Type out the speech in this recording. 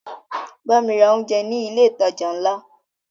Bámi ra oúnjẹ ní ilé ìtajà ńlá!